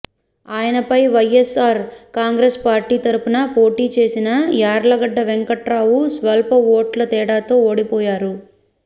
ఆయనపై వైయస్ఆర్ కాంగ్రెస్ పార్టీ తరపున పోటీ చేసిన యార్లగడ్డ వెంకట్రావు స్వల్ప ఓట్ల తేడాతో ఓడిపోయారు